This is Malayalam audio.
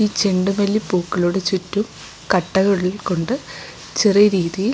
ഈ ചെണ്ട് മല്ലി പൂക്കളുടെ ചുറ്റും കട്ടകളിൽ കൊണ്ട് ചെറിയ രീതിയിൽ--